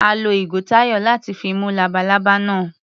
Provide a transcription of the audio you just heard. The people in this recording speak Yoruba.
A lo ìgò Táyọ̀ láti fi mú labalábá náà.